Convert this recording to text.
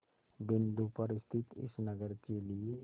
बिंदु पर स्थित इस नगर के लिए